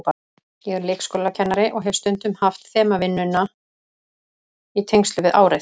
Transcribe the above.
Ég er leikskólakennari og hef stundum haft þemavinnuna í tengslum við árið.